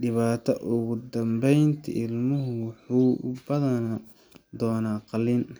dhibaatada ugu dambeyntii, ilmuhu wuxuu u baahan doonaa qalliin.